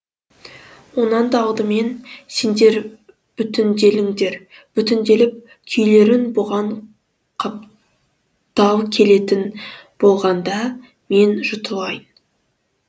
онан да алдымен сендер бүтінделіңдер бүтінделіп күйлерің бұған қаптал келетін болғанда мен жұтылайын